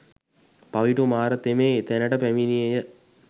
පවිටු මාර තෙමේ එතැනට පැමිණියේ ය